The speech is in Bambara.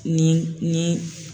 Ni ni